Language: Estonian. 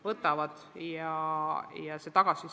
Võtavad!